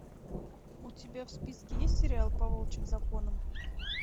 у тебя в списке есть сериал по волчьим законам